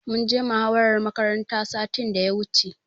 Mun je muhawarar makaranta satin da ya wuce.